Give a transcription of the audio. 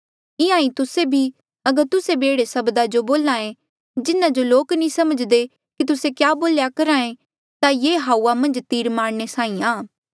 इंहां ईं तुस्से भी अगर तुस्से भी एह्ड़े सब्दा जो बोल्हे जिन्हा जो लोक नी समझ्दे कि तुस्से क्या बोल्या करहे ता ये हाऊआ मन्झ तीर मारने साहीं आ